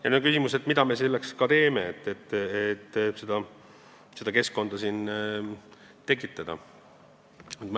Nüüd on küsimus, mida me selleks teeme, et siia seda keskkonda tekitada.